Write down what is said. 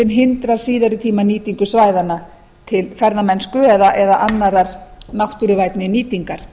sem hindrar síðari tíma nýtingu svæðanna til ferðamennsku eða annarrar náttúruvænni nýtingar